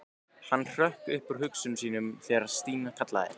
Hann hrökk upp úr hugsunum sínum þegar Stína kallaði.